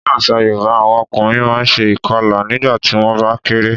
Ní àṣà Yorùbá, àwọn ọkùnrin máa ṣe ìkọlà nígbà tí wón bá kéré.